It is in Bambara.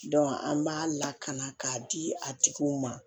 an b'a lakana k'a di a tigiw ma